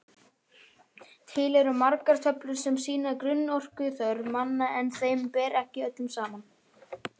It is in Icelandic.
Til eru margar töflur sem sýna grunnorkuþörf manna en þeim ber ekki öllum saman.